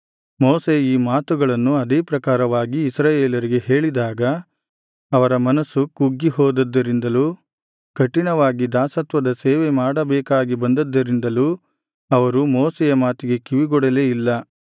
ಮೋಶೆ ಈ ಮಾತುಗಳನ್ನು ಅದೇ ಪ್ರಕಾರವಾಗಿ ಇಸ್ರಾಯೇಲರಿಗೆ ಹೇಳಿದಾಗ ಅವರ ಮನಸ್ಸು ಕುಗ್ಗಿಹೋದದ್ದರಿಂದಲೂ ಕಠಿಣವಾಗಿ ದಾಸತ್ವದ ಸೇವೆ ಮಾಡಬೇಕಾಗಿ ಬಂದದ್ದರಿಂದಲೂ ಅವರು ಮೋಶೆಯ ಮಾತಿಗೆ ಕಿವಿಗೊಡಲೇ ಇಲ್ಲ